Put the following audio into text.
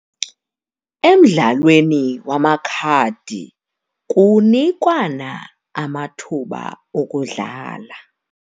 Emdlalweni wamakhadi kunikwana amathuba okudlala.